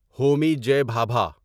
Homi J Bhabha